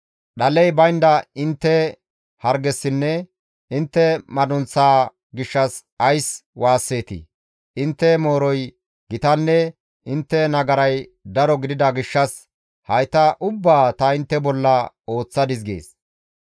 Dhaley baynda intte hargessinne intte madunththaa gishshas ays waasseetii? Intte mooroy gitanne intte nagaray daro gidida gishshas hayta ubbaa ta intte bolla ooththadis» gees.